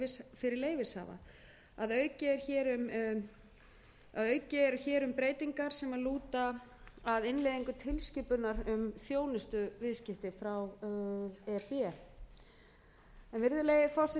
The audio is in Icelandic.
kostnað fyrir leyfishafa að auki er hér um breytingar sem lúta að innleiðingu tilskipunar um þjónustuviðskipti frá e s b virðulegi forseti þarna er